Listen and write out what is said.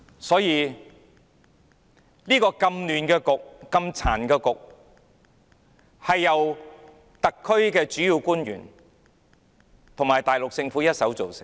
所以，這個既混亂又殘缺的局面，是由特區主要官員和大陸政府一手造成的。